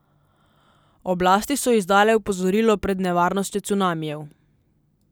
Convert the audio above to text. Oblasti so izdale opozorilo pred nevarnostjo cunamijev.